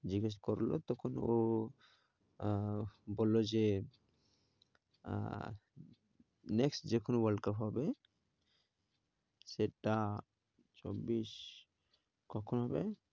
জিজ্ঞেস করলো, তখন ও আহ বললো যে, আহ next যখন world cup হবে, সেটা চব্বিশ কখন হবে?